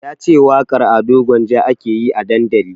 Yace waƙar Ado Gwanja ake yi a dandali